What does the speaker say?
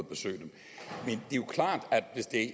besøge dem